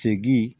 Segin